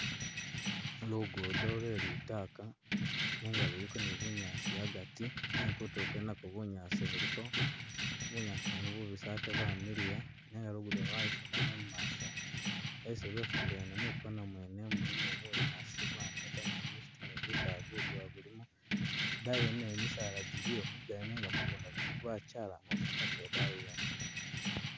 Lugudo lwe litaka nenga luliko ni bunyaasi a'gati nenga kutuulo kwene nakwo bunyaasi buliko, bunyaasi bwene bubisi ate bwamiliya nenga lugudo lwene lwayusamo mumaaso, esi mwefumbila ne mwikoona mwene mulimo bunyaasi bwaneta ni jimisitu ni gusaala guduwa gulimo daayi yene nayo misaala jiliyo migali nenga mugunda kwene kwachalama busa paka e'daayi yene